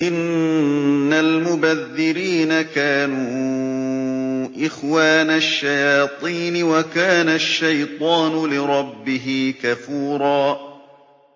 إِنَّ الْمُبَذِّرِينَ كَانُوا إِخْوَانَ الشَّيَاطِينِ ۖ وَكَانَ الشَّيْطَانُ لِرَبِّهِ كَفُورًا